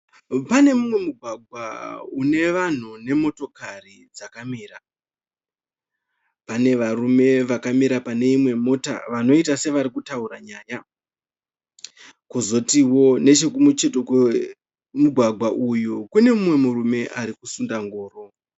Pane umwe mugwagwa une vanhu nemotokari dzakamira. Pane varume vakamira pane imwe mota vanoita sevari kutaura nyaya. Kozotiwo nechekumucheto kwemugwagwa uyu kune mumwe murume ari kusunda ngoro.